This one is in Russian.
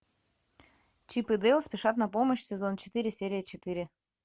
чип и дейл спешат на помощь сезон четыре серия четыре